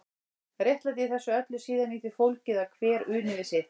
Réttlætið í þessu öllu er síðan í því fólgið að hver uni við sitt.